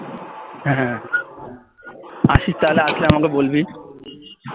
আসিস তাহলে আসলে আমাকে বলবি